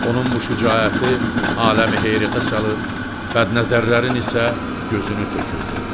Onun bu şücaəti aləmi heyrətə salır, bədnəzərlərin isə gözünü tökürdü.